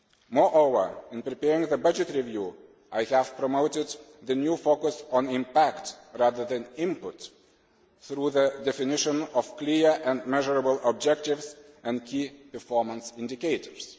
Moreover, in preparing the budget review, I have promoted the new focus on impact rather than input through the definition of clear and measurable objectives and key performance indicators.